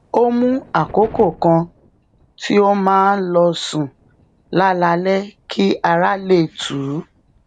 ó mú àkokò kan tí ó máa ń lọ sùn lálaalé kí ara lè tù ú